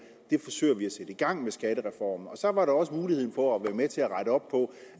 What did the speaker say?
det forsøger vi at sætte i gang med skattereformen så var der også mulighed for at være med til at rette op på